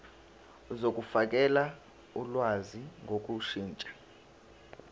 zokufakela ulwazi ngokushintsha